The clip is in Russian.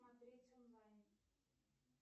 смотреть онлайн